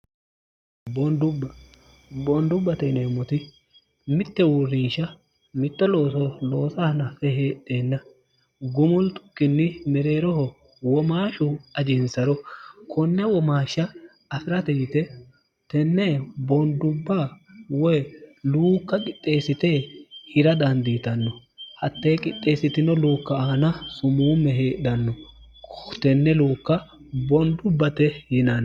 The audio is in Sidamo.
dbbboondubbate ineemmoti mitte uurriisha mitto loo loosanafe heedheenna gumul tukkinni mereeroho womaashu ajiinsaro konna womaashsha afi'rate yite tenne boondubba woy luukka qixxeessite hira daandiitanno hattee qixxeessitino luukka aana sumuumme heedhanno tenne luukka boondubbate yinann